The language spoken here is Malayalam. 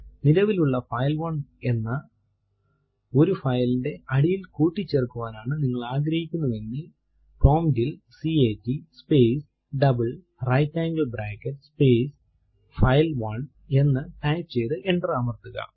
നിലവിലുള്ള ഫൈൽ1 എന്ന ഒരു file ന്റെ അടിയിൽ കൂട്ടിച്ചേർക്കുവാനാണ് നിങ്ങൾ ആഗ്രഹിക്കുന്നു എങ്കിൽ പ്രോംപ്റ്റ് ൽ cat space double right angle bracket space file one എന്ന് ടൈപ്പ് ചെയ്തു എന്റർ അമർത്തുക